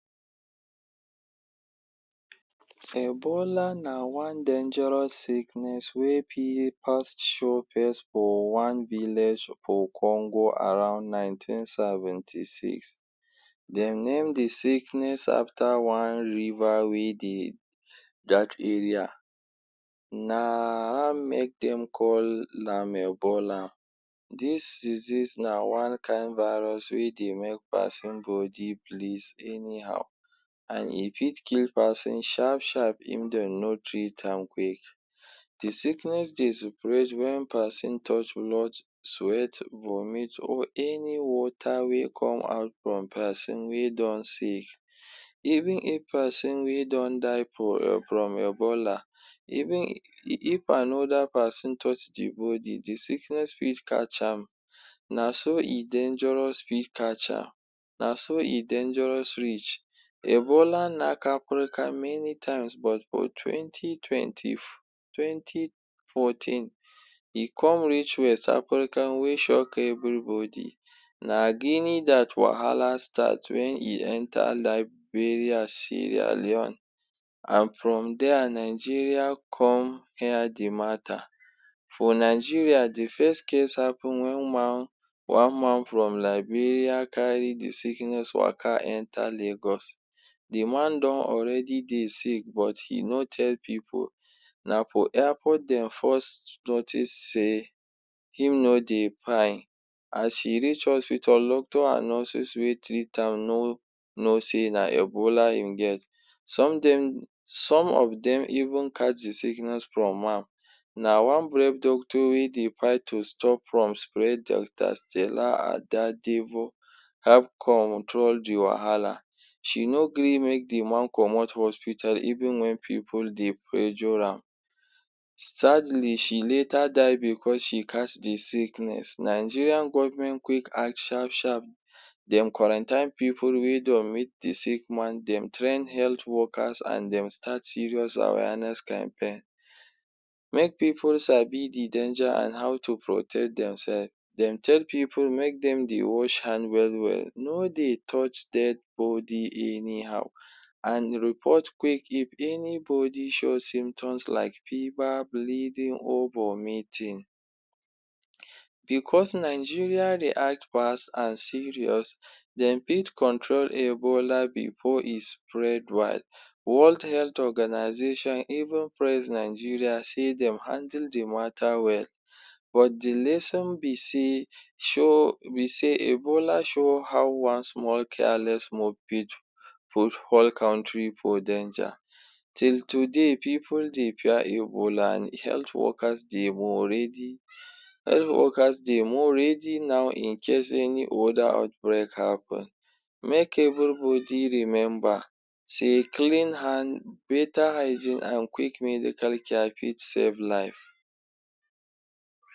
Ebola na one dangerous sickness wey fit pass show pace for one village for Congo around nineteen seventy six. Dem name de sickness after one river wey dey dat area. Na am make dem call am Ebola. Dis disease na one kind virus wey dey make person body bleed anyhow and e fit kill person sharp sharp if dem no treat am quick. De sickness dey spread wen person touch blood, sweat, vomit or any water wey come out from person wey don sick. Even if person wey don die from um from Ebola, even if another person touch de body de sickness fit catch am. Na so e dangerous fit catch am, na so e dangerous reach. Ebola nak aprika many times but twenty twenty twenty fourteen, e come reach West Africa wey shock everybody. Na dat wahala start wen e enter Liberia, Sierra Leone and from there Nigeria come hear de matter. For Nigeria, de first case happen wen man one man from Liberia carry de sickness waka enter Lagos. De man don already dey sick but he no tell pipu. Na for airport dem first notice sey him no dey pine as e reach hospital doctor and nurses wey treat am no know say na Ebola im get. Some dem some of dem even catch de sickness from am. Na one brave doctor wey dey fight to stop from spread Doctor Stella Adadevoh help control de wahala. She no gree make de man comot hospital even wen pipu dey pressure am. Sadly she later die because she catch de sickness. Nigeria government quick act sharp sharp. Dem quarantine pipu wey don meet de sick man, dem train health workers and dem start serious awareness campaign, make pipu sabi de danger and how to protect themself. Dem tell pipu make dem dey wash hand well well, no dey touch dead body anyhow and report quick give anybody show symptoms like fever, bleeding or vomiting. Because Nigeria react fast and serious dem fit control Ebola before e spread wide. World Health Organisation even praise Nigeria sey dem handle de matter well but de lesson be sey show be sey Ebola show how one small careless move fit put whole country for danger. Till today people dey fear Ebola and health workers dem already health workers dem already now incase any other outbreak happen make everybody remember say clean hand, greater hygiene and quick medical care fit save life.